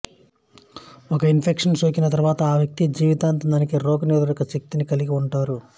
ఒక ఇన్ఫెక్షన్ సోకిన తరువాత ఆ వ్యక్తి జీవితాంతం దీనికి రోగనిరోధక శక్తిని కలిగి ఉంటారు